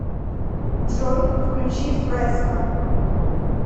джой включи фреско